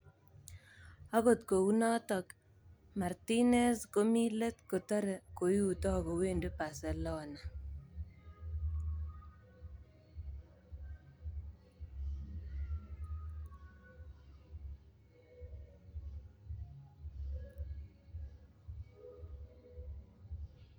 (Sky Sports) Akot kunatok, Martinez komi let kotare koiuto kowendi Barcelona.